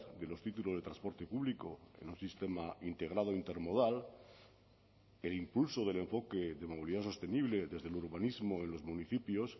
de los títulos de transporte público en un sistema integrado intermodal el impulso del enfoque de movilidad sostenible desde el urbanismo en los municipios